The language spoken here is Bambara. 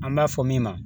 An b'a fɔ min ma